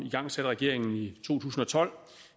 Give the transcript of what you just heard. igangsatte regeringen i to tusind og tolv